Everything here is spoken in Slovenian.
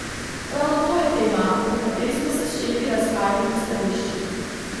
Ravno to je tema, pri kateri smo se s šefi razhajali v stališčih.